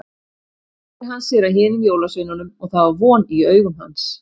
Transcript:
Svo sneri hann sér að hinum jólasveinunum og það var von í augum hans.